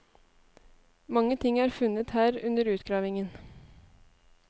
Mange ting er funnet her under utgravingen.